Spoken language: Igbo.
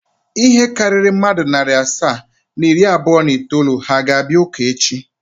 Ihe karịrị mmadụ narị asaa na iri abụọ na itoolu ha ga-abịa ụka echi?